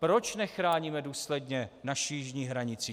Proč nechráníme důsledně naši jižní hranici?